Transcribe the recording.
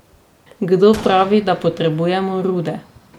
Kdo pravi, da potrebujemo rude?